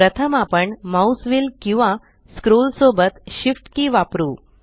प्रथम आपण mouse wheel किंवा स्क्रोल सोबत Shift की वापरु